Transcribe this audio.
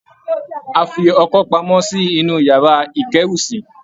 A fi ọkọ́ pamọ́ sí inú iyàrá ìkẹ́rù sí